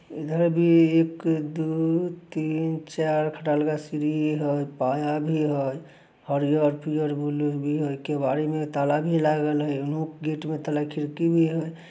इधर भी एक दो तीन चार खटाल का सीढ़ी हेय पाया भी हेय। हरियर पियर बुल्लू भी है । केवाड़ी में ताला भी लागल हेय। गेट में ताला खिड़की भी है।